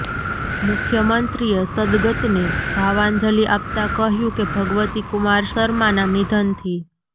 મુખ્યમંત્રીએ સદ્દગતને ભાવાંજલી આપતા કહ્યું કે ભગવતી કુમાર શર્માના નિધનથી